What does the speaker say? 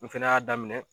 N fɛnɛ y'a daminɛ